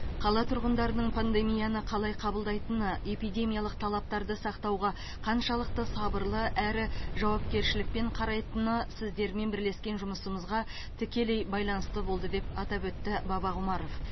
қала тұрғындарының пандемияны қалай қабылдайтыны эпидемиялық талаптарды сақтауға қаншалықты сабырлы әрі жауапкершілікпен қарайтыны сіздермен бірлескен жұмысымызға тікелей байланысты болды деп атап өтті бабақұмаров